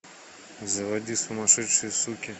заводи сумасшедшие суки